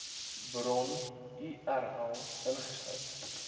bron url ingesluit